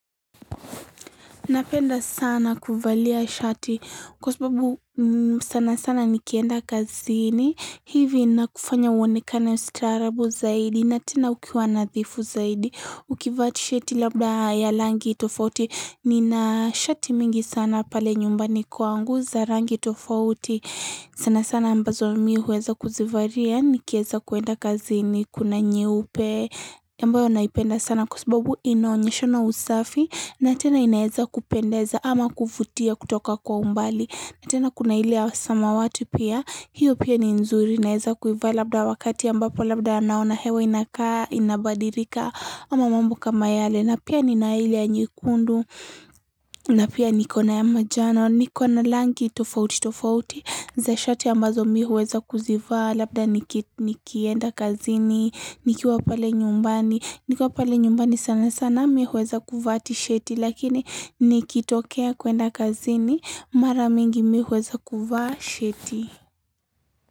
Napenda sana kuvalia shati kwa sababu sana sana nikienda kazini hivi inakufanya uonekana staarabu zaidi na tena ukiwa nadhifu zaidi. Ukivaa tisheti labda ya langi tofauti nina shati mingi sana pale nyumbani kwangu za rangi tofauti. Sana sana ambazo mi huweza kuzivaria nikieza kuenda kazini kuna nyeupe ambayo naipenda sana kwa sababu inaonyeshana usafi na tena inaeza kupendeza ama kuvutia kutoka kwa umbali na tena kuna ile ya samawati pia hiyo pia ni nzuri inaeza kuivaa labda wakati ambapo labda naona hewa inakaa inabadilika ama mambo kama yale na pia nina ile ya nyekundu na pia niko na ya manjano. Niko na langi tofauti tofauti za shati ambazo mi huweza kuzivaa labda niki nikienda kazini, nikiwa pale nyumbani, nikiwa pale nyumbani sana sana mi huweza kuvaa tisheti lakini nikitokea kuenda kazini mara mingi mi huweza kuvaa sheti.